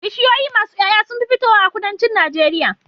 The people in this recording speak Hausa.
Bishiyoyi masu Yaya sunfi fitowa a kudancin nageria